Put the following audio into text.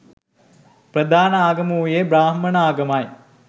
ප්‍රධාන ආගම වූයේ බ්‍රාහ්මණ ආගමයි.